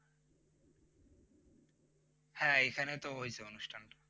হ্যাঁ এইখানে তো হয়েছে অনুষ্ঠান।